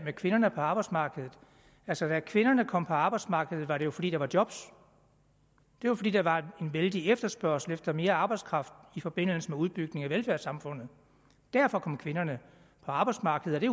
kvinderne på arbejdsmarkedet altså da kvinderne kom på arbejdsmarkedet var det jo fordi der var job det var fordi der var en vældig efterspørgsel efter mere arbejdskraft i forbindelse med udbygningen af velfærdssamfundet derfor kom kvinderne på arbejdsmarkedet